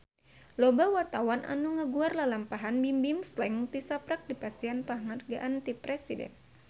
Loba wartawan anu ngaguar lalampahan Bimbim Slank tisaprak dipasihan panghargaan ti Presiden